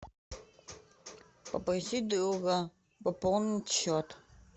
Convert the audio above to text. попросить друга пополнить счет